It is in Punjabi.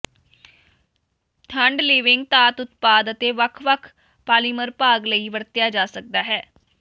ਠੰਢ ਿਲਵਿੰਗ ਧਾਤ ਉਤਪਾਦ ਅਤੇ ਵੱਖ ਵੱਖ ਪਾਲੀਮਰ ਭਾਗ ਲਈ ਵਰਤਿਆ ਜਾ ਸਕਦਾ ਹੈ